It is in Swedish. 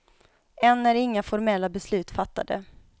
Än är inga formella beslut fattade.